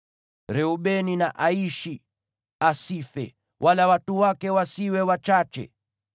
“Reubeni na aishi, asife, wala watu wake wasiwe wachache.”